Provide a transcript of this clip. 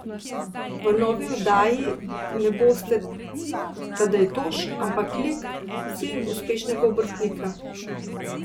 V novi oddaji ne boste Tadej Toš, ampak lik, sin uspešnega obrtnika.